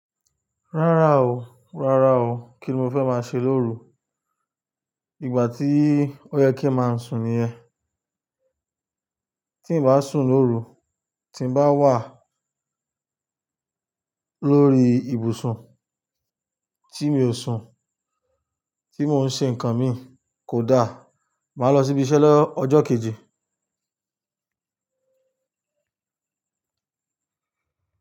Rárá o, rárá o, kíni mo fẹ́ máa ṣe lóru, ìgbà tí ó yẹ kí n máa sùn nìyẹn. Tí n bá sùn lóru, tí n bá wà lórí ibùsùn, tí mi ò sùn, tí mò ń ṣe nǹkan mi kò da, màá lọ síbi iṣẹ́ lọ́jọ́ kejì.